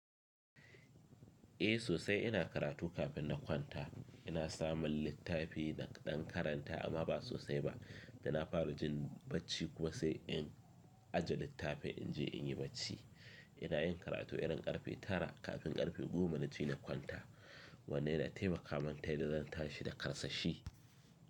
Eh sosai ina karatu kafin na kwanta. Ina samun littafi na ɗan karanta amma ba sosai ba. Ina fara jin bacci kuma sai in ajje littafin in je in yi bacci. Ina yin karatu irin ƙarfe tara kafin ƙarfe goma na je na kwanta. Wannan yina tai makamun ta yanda zanta shi da karsashi.